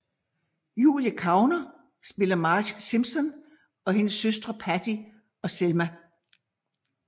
Julie Kavner spiller Marge Simpson og hendes søstre Patty og Selma